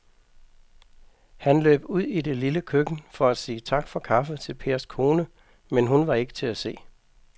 Han løb ud i det lille køkken for at sige tak for kaffe til Pers kone, men hun var ikke til at se.